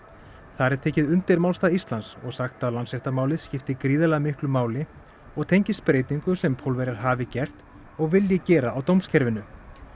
þar er tekið undir málstað Íslands og sagt að Landsréttarmálið skipti gríðarlega miklu máli og tengist breytingum sem Pólverjar hafi gert og vilji gera á dómskerfinu